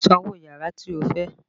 San owó yàrá tí o fẹ́!